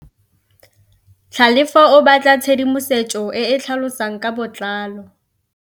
Tlhalefô o batla tshedimosetsô e e tlhalosang ka botlalô.